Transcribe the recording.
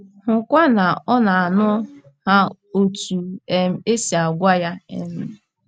Hụkwa na ọ na - aṅụ ha otú um e si gwa ya um.